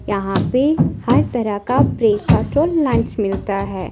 यहां पे हर तरह का ब्रेकफास्ट और लंच मिलता है।